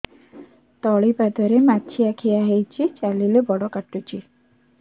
ତଳିପାଦରେ ମାଛିଆ ଖିଆ ହେଇଚି ଚାଲିଲେ ବଡ଼ କାଟୁଚି